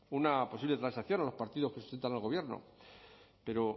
una posible transacción a los partidos que sustentan al gobierno pero